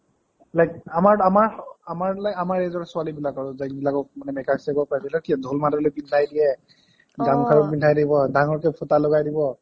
like আমাৰ আমাৰ আমাৰ আমাৰ মানে আমাৰ age ৰ ছোৱালী বিলাকৰ যেনবিলাকৰ ঢোলমাদলী পিন্ধাই দিয়ে, গামখাৰু পিন্ধাই দিব ডাঙৰ কে ফোটা লগাই দিব